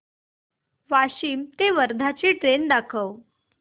वाशिम ते वर्धा ची ट्रेन दाखव